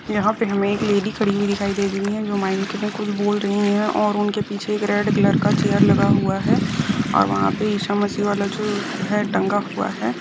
यहाँ पे हमे एक लेडी खड़ी हुई दिखाई दे रही है जो मायंक मे कुछ बोल रही है ओर उनके पीछे एक रेड कलर का चैर लगा हूआ है ओर वहां पे ईशा मसी वाला जो है तंगा हूआ हैं।